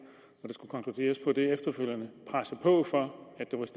skulle konkluderes på det efterfølgende presse på for